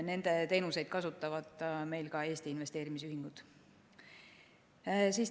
Nende teenuseid kasutavad ka Eesti investeerimisühingud.